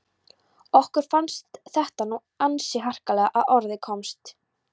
Okkur fannst þetta nú ansi harkalega að orði komist.